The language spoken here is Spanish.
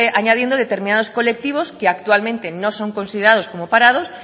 añadiendo determinados colectivos que actualmente no son considerados como parados